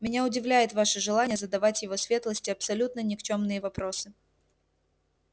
меня удивляет ваше желание задавать его светлости абсолютно никчёмные вопросы